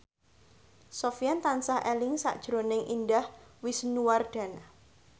Sofyan tansah eling sakjroning Indah Wisnuwardana